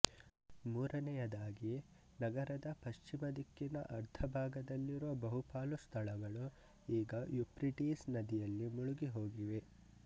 ಮೂರನೆಯದಾಗಿ ನಗರದ ಪಶ್ಚಿಮ ದಿಕ್ಕಿನ ಅರ್ಧ ಭಾಗದಲ್ಲಿರುವ ಬಹುಪಾಲು ಸ್ಥಳಗಳು ಈಗ ಯುಪ್ರಿಟೀಸ್ ನದಿಯಲ್ಲಿ ಮುಳುಗಿಹೋಗಿವೆ